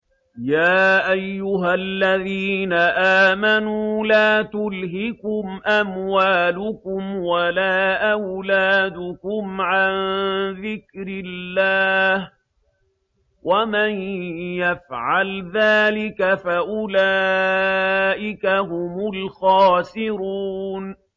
يَا أَيُّهَا الَّذِينَ آمَنُوا لَا تُلْهِكُمْ أَمْوَالُكُمْ وَلَا أَوْلَادُكُمْ عَن ذِكْرِ اللَّهِ ۚ وَمَن يَفْعَلْ ذَٰلِكَ فَأُولَٰئِكَ هُمُ الْخَاسِرُونَ